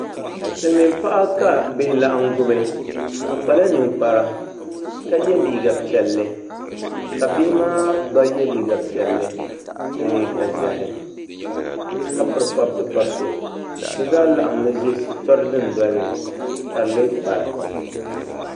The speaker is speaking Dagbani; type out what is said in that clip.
Silmiin paɣa ka bihi laɣam gubi o kpala ninkpara ka yɛ liiga piɛlli ka bihi maa gba yɛ liiga piɛlli ni liiga ʒiɛhi ka piri pabiti pabiti bi zaa laɣammi ʒɛ shitɔri dundoli ni ka di lee kpari